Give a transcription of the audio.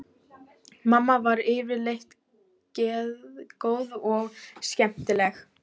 Mamma var yfirleitt geðgóð og skemmtileg.